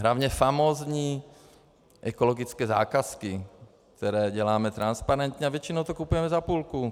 Hlavně famózní ekologické zakázky, které děláme transparentně, a většinou to kupujeme za půlku.